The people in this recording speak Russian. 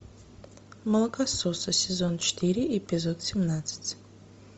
молокососы сезон четыре эпизод семнадцать